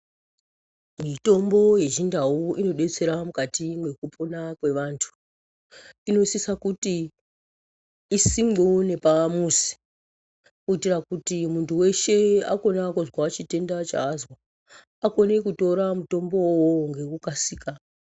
Mitombo yechindau inodetsera mukati mwekupona kwevantu. Inosisa kuti isimwewo nepamuzi kuitira kuti muntu weshe akona kuzwa chitenda chazwa akone kutora mutombo iwowo ngekukasika.